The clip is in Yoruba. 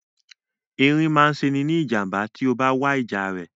Erin máa ṣe ọ́ ní ìjàm̀bá tí o bá wá ìjà rẹ̀.